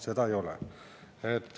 Seda ei ole.